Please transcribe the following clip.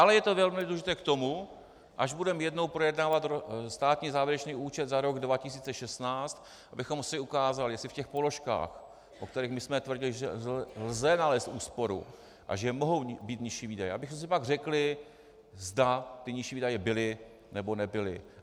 Ale je to velmi důležité k tomu, až budeme jednou projednávat státní závěrečný účet za rok 2016, abychom si ukázali, jestli v těch položkách, o kterých my jsme tvrdili, že lze nalézt úsporu a že mohou být nižší výdaje, abychom si pak řekli, zda ty nižší výdaje byly, nebo nebyly.